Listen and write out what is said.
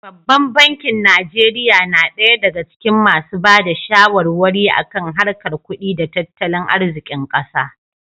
Babban bankin Najeriya na ɗaya daga cikin masu ba da shawarwari a kan harkar kudi da tattalin arzikin ƙasa.